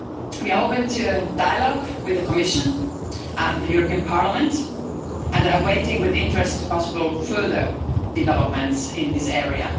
We are open to dialogue with the Commission and the European Parliament and are waiting with interest for possible further developments in this area.